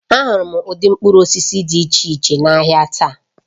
Ahụrụ m ụdị mkpụrụ osisi dị iche iche n'ahịa taa